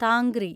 Tangri